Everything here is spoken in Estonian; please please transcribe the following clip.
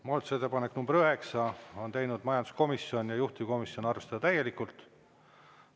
Muudatusettepaneku nr 9 on teinud majanduskomisjon ja juhtivkomisjon: arvestada täielikult.